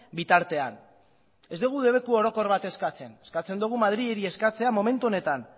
bitartean ez dugu debeku orokor bat eskatzen eskatzen dugu madrili eskatzea momentu honetan